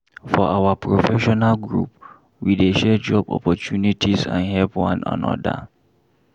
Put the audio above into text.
For our professional group, we dey share job opportunities and help one another.